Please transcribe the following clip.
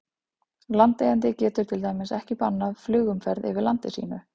Landeigandi getur til dæmis ekki bannað flugumferð yfir landi sínu.